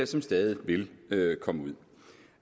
som stadig vil komme ud